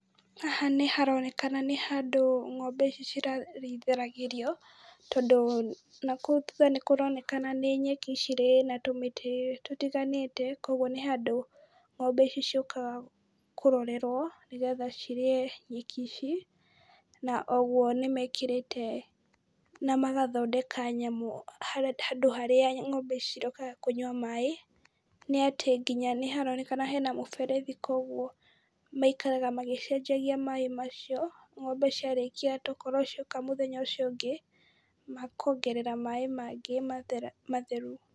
Haha nĩharonekana nĩ handũ ng'ombe ici cirarĩithĩragĩrio, tondũ nakũu thutha nĩkũronekana nĩ nyeki cirĩ na tũmĩtĩ tũtiganĩte kuoguo nĩ handũ ng'ombe ici ciũkaga kũrorerwo nĩgetha cirĩe nyeki ici, na oguo nĩmekĩrĩte na magathondeka nyamũ handũ harĩa ng'ombe ici cirĩũkga kũnyua maĩ, nĩ atĩ nginya nĩharonekana hena mũberethi kuoguo maikaraga magĩcenjagia maĩ macio ng'ombe ciarĩkia to ũkorwo cioka mũthenya ũcio ũngĩ makongerera maĩ mangĩ matheru.